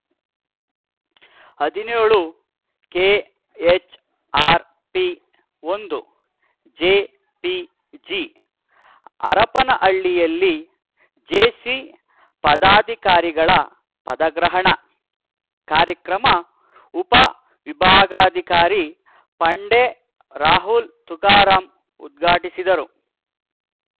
ಹದಿನೇಳು ಕೆಎಚ್‌ಆರ್‌ಪಿ ಒಂದು ಜೆಪಿಜಿ ಹರಪನಹಳ್ಳಿಯಲ್ಲಿ ಜೇಸಿ ಪದಾಧಿಕಾರಿಗಳ ಪದಗ್ರಹಣ ಕಾರ್ಯಕ್ರಮ ಉಪವಿಭಾಗಾಧಿಕಾರಿ ಪಂಡೆ ರಾಹುಲ್‌ ತುಕಾರಾಂ ಉದ್ಘಾಟಿಸಿದರು